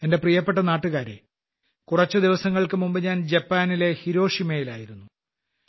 എന്റെ പ്രിയപ്പെട്ട നാട്ടുകാരേ കുറച്ചു ദിവസങ്ങൾക്കു മുമ്പ് ഞാൻ ജപ്പാനിലെ ഹിരോഷിമയിലായിരുന്നു